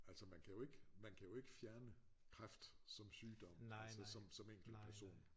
Altså man kan jo ikke man kan jo ikke fjerne kræft som sygdom altså som som enkeltperson